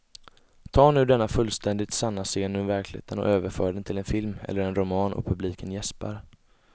Ta nu denna fullständigt sanna scen ur verkligheten och överför den till en film eller en roman och publiken jäspar.